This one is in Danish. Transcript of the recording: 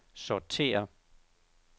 sortér